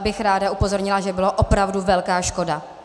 bych rád upozornila, že byla opravdu velká škoda.